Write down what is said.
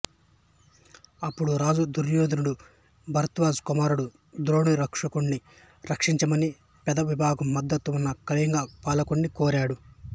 అప్పుడు రాజు దుర్యోధనుడు భరద్వాజ కుమారుడు ద్రోణుడిరక్షణుడిని రక్షించమని పెద్ద విభాగం మద్దతు ఉన్న కళింగ పాలకుడిని కోరాడు